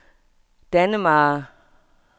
Dannemare